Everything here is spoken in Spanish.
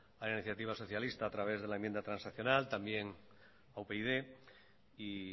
a la iniciativa socialista a través de la enmienda transaccional también a upyd y